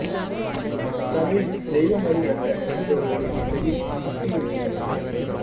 தமிழ் தெய்வ மொழி அல்ல என்பவர்களின் மண்டையில் குட்டி இருக்கிறேன்